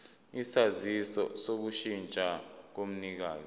isaziso sokushintsha komnikazi